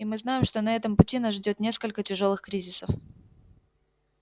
и мы знаем что на этом пути нас ждёт несколько тяжёлых кризисов